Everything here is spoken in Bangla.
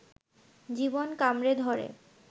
জীবন কামড়ে ধরে